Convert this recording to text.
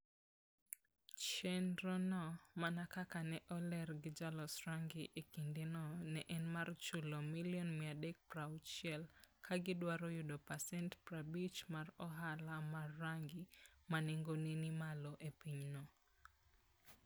Chenrono, mana kaka ne oler gi ja loso rangi e kindeno, ne en mar chulo Sh360 million ka gidwaro yudo pasent 50 mar ohala mar rangi ma nengone ni malo e pinyno.